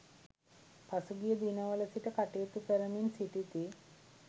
පසුගිය දිනවල සිට කටයුතු කරමින් සිටිති.